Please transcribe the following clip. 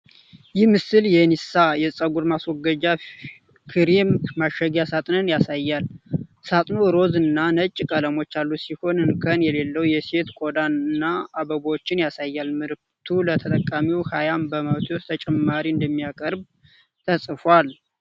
ይህ ምስል የኒሳ የፀጉር ማስወገጃ ክሬም ማሸጊያ ሳጥንን ያሳያል። ሳጥኑ ሮዝ እና ነጭ ቀለሞች ያሉት ሲሆን፥ እንከን የሌለውን የሴት ቆዳ እና አበቦችን ያሳያል። ምርቱ ለተጠቃሚው ሃያ በመቶ ተጨማሪ እንደሚያቀርብም ተጽፏል።